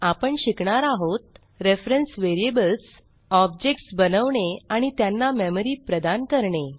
आपण शिकणार आहोत रेफरन्स व्हेरिएबल्स ऑब्जेक्ट्स बनवणे आणि त्यांना मेमरी प्रदान करणे